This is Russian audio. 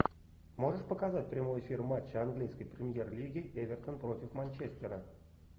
можешь показать прямой эфир матча английской премьер лиги эвертон против манчестера